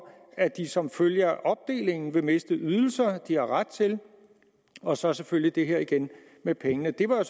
at de som følge af opdelingen vil miste ydelser de har ret til og så selvfølgelig det her igen med pengene det var jo